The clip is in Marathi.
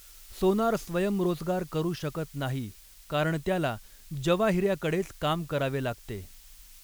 सोनार स्वयंरोजगार करू शकत नाही कारण त्याला जवाहीऱ्याकडेच काम करावे लागते.